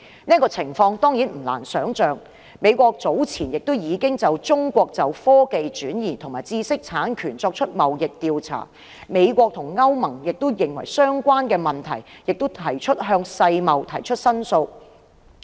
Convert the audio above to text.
這情況當然不難想象，美國早前已就中國就科技轉移及知識產權作出貿易調查，美國及歐盟均就相關問題向世貿提出申訴。